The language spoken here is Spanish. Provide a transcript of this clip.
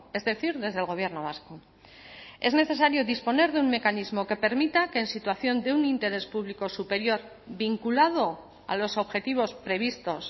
es decir desde el gobierno vasco es necesario disponer de un mecanismo que permita que en situación de un interés público superior vinculado a los objetivos previstos